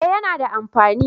Eh yana da amfani